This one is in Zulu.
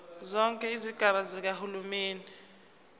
zonke izigaba zikahulumeni